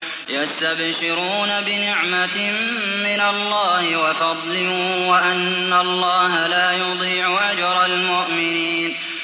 ۞ يَسْتَبْشِرُونَ بِنِعْمَةٍ مِّنَ اللَّهِ وَفَضْلٍ وَأَنَّ اللَّهَ لَا يُضِيعُ أَجْرَ الْمُؤْمِنِينَ